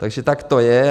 Takže tak to je.